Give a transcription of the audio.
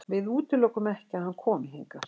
Við útilokum ekki að hann komi hingað.